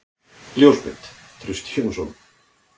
Ljósmynd: Trausti Jónsson.